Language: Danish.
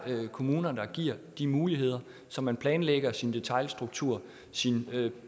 ved at kommunerne giver de muligheder så man planlægger sin detailstruktur sine